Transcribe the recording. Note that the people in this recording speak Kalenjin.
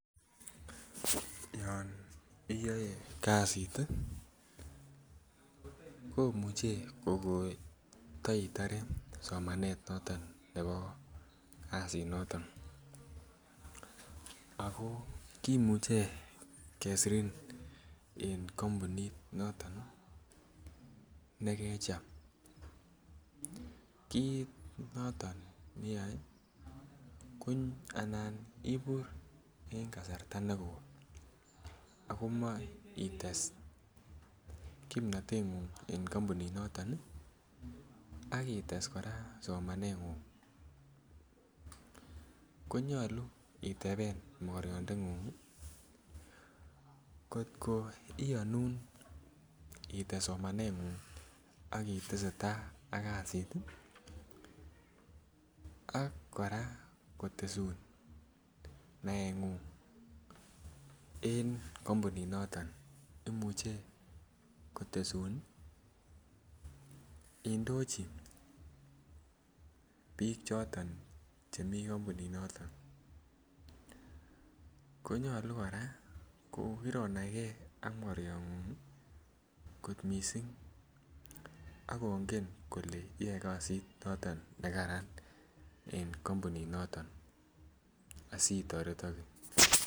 Yon iyoe kasit tii komuche kokoteitore somanet noton nebo kasit noton ako kimuche kesirin en kompunit noton nii nekecham. Kit noton neyoe ko anan ibur en kasarta nekoi ako moi ites kipnotenguny en kompunit noton nii ak ites Koraa somanengung konyolu otepen mokoriondengungi kotko iyonun ites somanengung ak otesetai ak kasit tii ak Koraa kotesun neat ngun en kompunit noton imuche kotesun indochi bik choton chemii kompunit noton. Konyolu Koraa ko kironaigee ak mokoriongung kit missing akinge kole iyoe kasit noton nekaran en kompunit noton asitoretoke.